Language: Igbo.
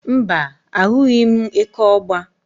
Mbá, ahụghị m eke ọ̀gba.